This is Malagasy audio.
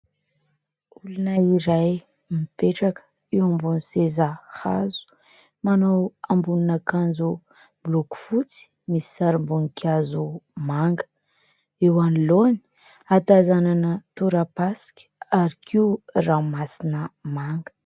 Olona iray mipetraka eo ambony seza hazo manao ambonin' akanjo miloko fotsy misy sarim-boninkazo manga, eo anoloany hatazanana tora-pasika ary koa ranomasina manga.